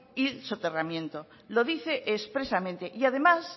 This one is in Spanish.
y el soterramiento lo dice expresamente y además